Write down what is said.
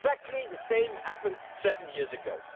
Exactly the same thing happened seven years ago.